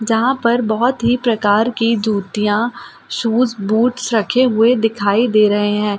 जहाँ पर बहुत ही प्रकार की जूतियां शूज बूट्स रखे हुए दिखाई दे रहे हैं।